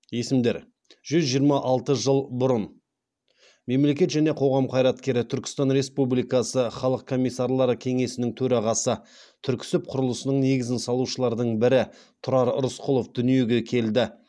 есімдер жүз жиырма алты жыл бұрын мемлекет және қоғам қайраткері түркістан республикасы халық комиссарлары кеңесінің төрағасы түрксіб құрылысының негізін салушылардың бірі тұрар рысқұлов дүниеге келді